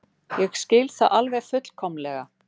Ég skil það alveg fullkomlega.